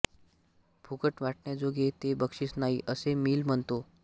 फुकट वाटण्याजोगे ते बक्षीस नाही असे मिल म्हणतो